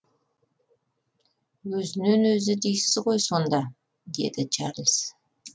өзінен өзі дейсіз ғой сонда деді чарлз